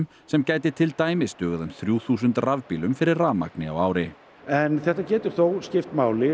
sem gæti til dæmis dugað um þrjú þúsund rafbílum fyrir rafmagni á ári en þetta getur skipt máli